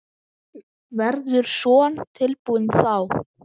Verður Son tilbúinn þá?